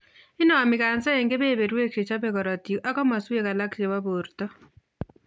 Inomi kansa en keberberwek chechobe korotik ak komoswek alak chebo borto